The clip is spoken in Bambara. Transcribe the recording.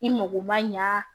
I mago ma ɲa